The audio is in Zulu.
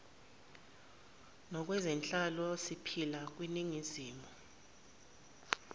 nakwezenhlalo siphila kwiningizimu